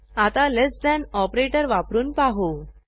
आता less than operator वापरून पाहू